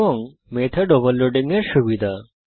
এবং method overloading এর সুবিধা